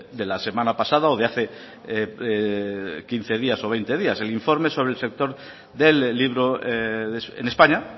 de la semana pasada o de hace quince días o veinte días el informe sobre el sector del libro en españa